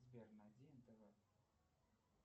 сбер найди нтв